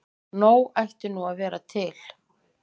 Nóg ætti nú að vera til.